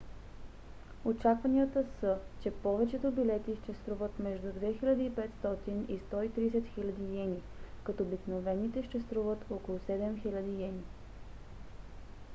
очакванията са че повечето билети ще струват между 2 500 и 130 000 йени като обикновените ще струват около 7 000 йени